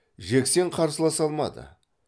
жексен қарсыласа алмады